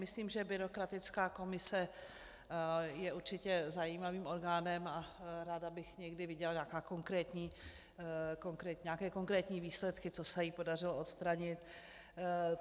Myslím, že byrokratická komise je určitě zajímavým orgánem, a ráda bych někdy viděla nějaké konkrétní výsledky, co se jí podařilo odstranit.